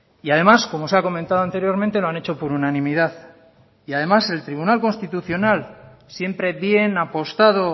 y además como se ha comentado anteriormente lo han hecho por unanimidad y además el tribunal constitucional siempre bien apostado